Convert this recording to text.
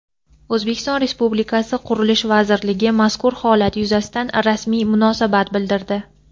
O‘zbekiston Respublikasi Qurilish vazirligi mazkur holat yuzasidan rasmiy munosabat bildirdi.